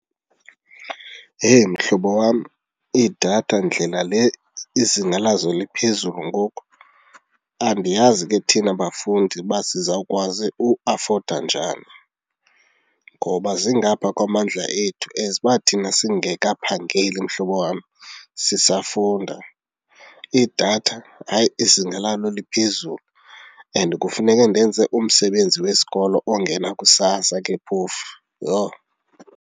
Yeyi! Mhlobo wam, idatha ndlela le izinga lazo liphezulu ngoku, andiyazi ke thina bafundi uba sizawukwazi uafoda njani ngoba zingaphaa kwamandla ethu as uba thina singekaphangeli mhlobo wam sisafunda. Idatha, hayi, izinga lalo liphezulu and kufuneke ndenze umsebenzi wesikolo ongena kusasa ke phofu, yho!